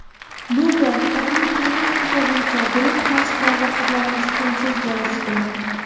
Bu gal badiiy gimnastika bo‘yicha guruh mashqlarida qizlarimiz tengsiz bo‘lishdi.